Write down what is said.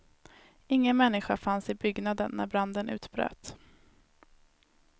Ingen människa fanns i byggnaden när branden utbröt.